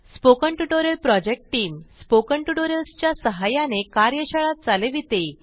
spoken tutorial project team spoken tutorials च्या सहाय्याने कार्यशाळा चालविते